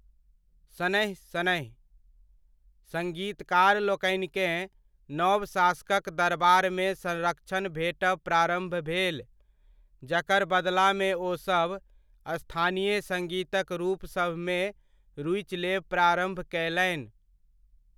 शनैः शनैः, सङ्गीतकार लोकनिकेँ नव शासकक दरबारमे संरक्षण भेटब प्रारम्भ भेल, जकर बदलामे ओ सभ स्थानीय सङ्गीतक रूप सभमे रुचि लेब प्रारम्भ कयलनि।